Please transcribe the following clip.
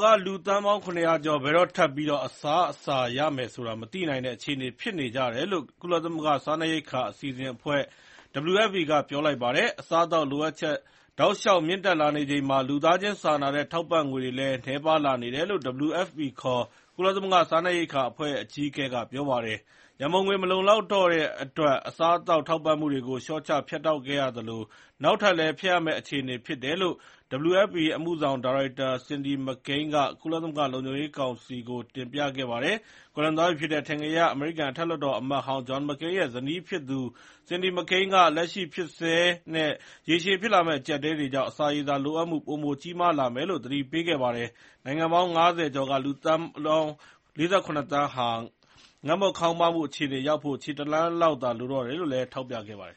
က လူသန်းပေါင်း ၇၀၀ ကျော် ဘယ်တော့ထပ်ပြီးအစားအစားရမယ်ဆိုတာ မသိနိုင်တဲ့ အခြေအနေဖြစ်နေကြတယ်လို့ ကုလစားနပ်ရိက္ခာအစီအစဉ်အဖွဲ့ WFP က ပြောလိုက်ပါတယ်။ အစားအသောက်လိုအပ်ချက် တောက်လျှောက်မြင့်တက်လာနေချိန်မှာ လူသားချင်းစာနာတဲ့ ထောက်ပံ့ငွေတွေလည်း နည်းပါးလာနေတယ်လို့ WFP ခေါ် ကုလသမဂ္ဂ စားနပ်ရိက္ခာအဖွဲ့ အကြီးအကဲက ပြောကြားခဲ့ပါတယ်။ ရန်ပုံငွေ မလုံလောက်တော့တဲ့အတွက် အစားအသောက်ထောက်ပံ့မှုတွေကို လျှော့ချ ဖြတ်တောက်ခဲ့ရသလို နောက်ထပ်လည်း ဖြတ်ရမယ့်အခြေအနေဖြစ်နေတယ်လို့ WFP အမှုဆောင်ဒါရိုက်တာ Cindy McCain က ကုလသမဂ္ဂ လုံခြုံရေးကောင်စီကို တင်ပြခဲ့ပါတယ်။ ကွယ်လွန်သွားပြီဖြစ်တဲ့ အထင်ကရ အမေရိကန် အထက်လွှတ်တော် အမတ်ဟောင်း John McCain ရဲ့ ဇနီးဖြစ်သူ Cindy McCain က၊ လက်ရှိဖြစ်ဆဲနဲ့ ရေရှည်ဖြစ်လာမဲ့ အကျပ်အတည်းတွေကြောင့် အစာရေစာ လိုအပ်မှု ပိုကြီးမားလာမယ်လို့ သတိပေးခဲ့ပါတယ်။ နိုင်ငံပေါင်း ၅၀ ကျော်က လူပေါင်း ၄၇ သန်းဟာ ငတ်မွတ်ခေါင်းပါးမှု အခြေအနေရောက်ဖို့ ခြေတလှမ်းလောက်သာလိုတော့တယ်လို့ ထောက်ပြခဲ့ပါတယ်